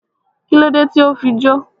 Kílódé tí o fi jó?